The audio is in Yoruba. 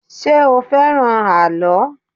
Ṣé o fẹ́ràn àlọ́?